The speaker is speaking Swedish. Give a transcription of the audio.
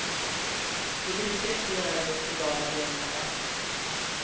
Det brukar inte göra det hos lojala beundrare.